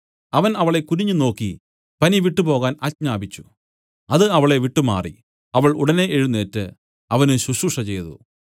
അവൻ അവളെ കുനിഞ്ഞുനോക്കി പനി വിട്ടു പോകാൻ ആജ്ഞാപിച്ചു അത് അവളെ വിട്ടുമാറി അവൾ ഉടനെ എഴുന്നേറ്റ് അവന് ശുശ്രൂഷചെയ്തു